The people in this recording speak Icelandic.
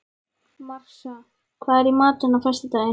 Marsa, hvað er í matinn á föstudaginn?